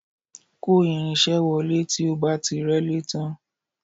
Kò irin-iṣẹ́ wọlé tí o bá ti rẹ́lé tán